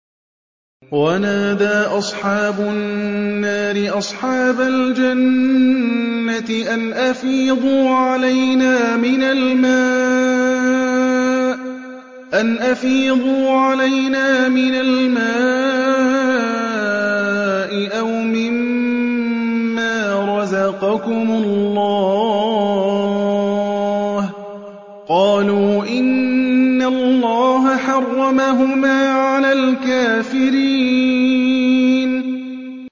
وَنَادَىٰ أَصْحَابُ النَّارِ أَصْحَابَ الْجَنَّةِ أَنْ أَفِيضُوا عَلَيْنَا مِنَ الْمَاءِ أَوْ مِمَّا رَزَقَكُمُ اللَّهُ ۚ قَالُوا إِنَّ اللَّهَ حَرَّمَهُمَا عَلَى الْكَافِرِينَ